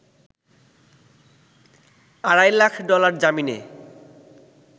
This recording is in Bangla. আড়াই লাখ ডলার জামিনে